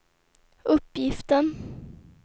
uppgiften